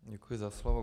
Děkuji za slovo.